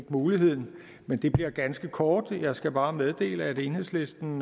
muligheden men det bliver ganske kort jeg skal bare meddele at enhedslisten